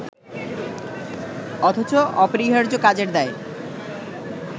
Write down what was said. অথচ অপরিহার্য কাজের দায়